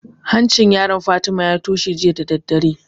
Hancin yaron Fatima ya toshe jiya da daddare